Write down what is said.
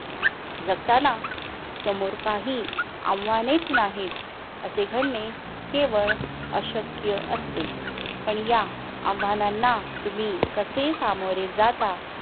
जगताना समोर काही आव्हानेच नाहीत असे घडणे केवळ अशक्य असते. पण या आव्हानांना तुम्ही कसे सामोरे जातात